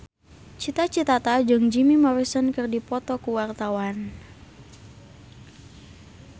Cita Citata jeung Jim Morrison keur dipoto ku wartawan